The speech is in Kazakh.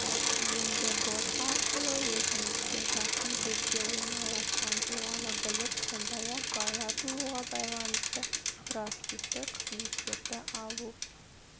енді бот арқылы өзіңізге жақын жерде орналасқан туралы біліп сондай-ақ бала тууға байланысты проактивті қызметтерді алу